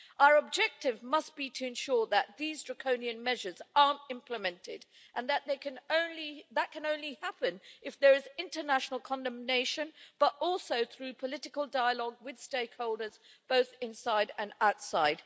Our objective must be to ensure that these draconian measures aren't implemented, and that can only happen if there is international condemnation, but also through political dialogue with stakeholders both inside and outside.